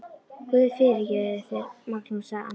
Guð fyrirgefi þér, Magnús, sagði amma.